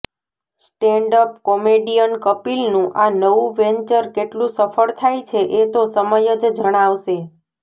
standup comedian કપિલનું આ નવું વેન્ચર કેટલુ સફળ થાય છે એ તો સમય જ જણાવશે